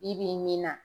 Bi bi in na